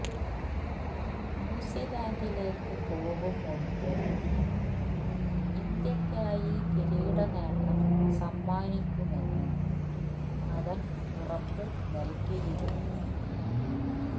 ന്യൂസിലന്ഡിലേക്ക് പോകും മുന്പ് ഇന്ത്യക്കായി കിരീടനേട്ടം സമ്മാനിക്കുമെന്ന് അവന് ഉറപ്പ് നല്കിയിരു